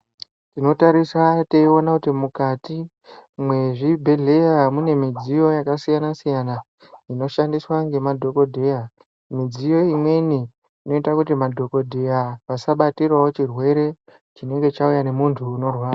Tinotarisa teiona kuti mukati mezvibhedhleya mune midziyo yakasiyana -siyana zvinoshandiswa ngemadhokodheya midziyo imweni inoita kuti madhokodheya vasabatirawo chirwere chinenge chauya nemuntu unorwara.